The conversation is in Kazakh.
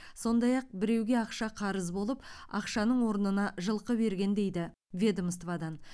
сондай ақ біреуге ақша қарыз болып ақшаның орнына жылқы берген дейді ведомстводан